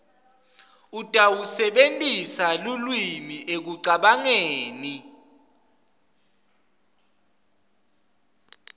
utawusebentisa lulwimi ekucabangeni